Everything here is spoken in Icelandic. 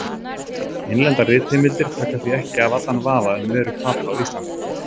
Innlendar ritheimildir taka því ekki af allan vafa um veru Papa á Íslandi.